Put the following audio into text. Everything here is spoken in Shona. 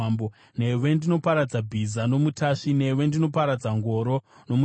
newe ndinoparadza bhiza nomutasvi, newe ndinoparadza ngoro nomuchairi,